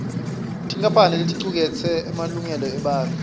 tinkampane leticuketse emalungelo ebantfu